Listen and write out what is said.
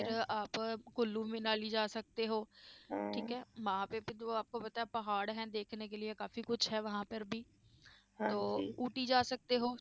ਫਿਰ ਆਪ ਕੁੱਲੂ ਮਨਾਲੀ ਜਾ ਸਕਦੇ ਹੋ ਠੀਕ ਹੈ ਪਹਾੜ ਹੈ ਕਾਫ਼ੀ ਕੁਛ ਹੈ ਊਟੀ ਜਾ ਸਕਦੇ ਹੋ।